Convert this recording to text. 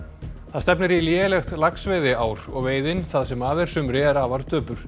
það stefnir í lélegt laxveiðiár og veiðin það sem af er sumri er afar döpur